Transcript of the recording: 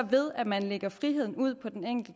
hvordan